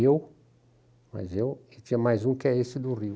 Eu, mais eu, e tinha mais um, que é esse do Rio.